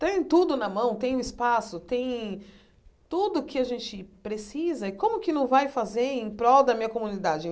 Tem tudo na mão, tem o espaço, tem tudo que a gente precisa e como que não vai fazer em prol da minha comunidade?